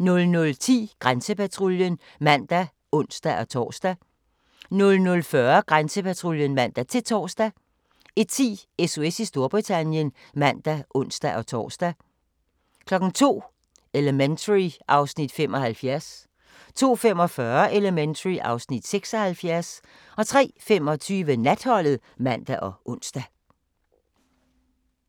00:10: Grænsepatruljen (man og ons-tor) 00:40: Grænsepatruljen (man-tor) 01:10: SOS i Storbritannien (man og ons-tor) 02:00: Elementary (Afs. 75) 02:45: Elementary (Afs. 76) 03:25: Natholdet (man og ons)